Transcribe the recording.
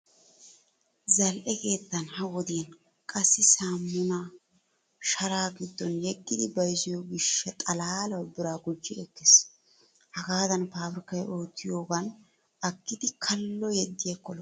Zal'e keettan ha wodiyan qassi saammunaa shara giddon yeggidi bayizziyo gishsha xalaalawu biraa gujji ekkes. Hagaadan fabrkkay oottiyoogan aggidi kallo yeddiyaako lo'o.